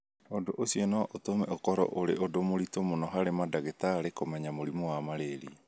Ũndũ ũcio no ũtũme ũkorũo ũrĩ ũndũ mũritũ mũno harĩ mandagĩtarĩ kũmenya mũrimũ wa Malaria.